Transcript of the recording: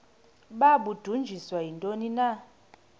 babudunjiswe yintoni na